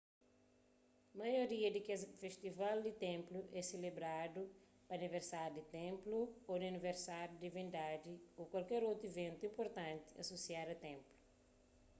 maioria di kes festival di ténplu é selebradu pa aniversáriu di ténplu ô di aniversáriu di divindadi ô kualker otu iventu inpurtanti asosiadu a ténplu